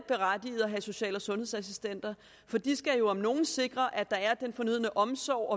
berettiget at have social og sundhedsassistenter for de skal jo om nogen sikre at der er den fornødne omsorg